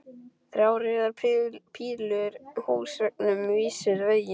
Þrjár rauðar pílur á húsveggnum vísuðu veginn.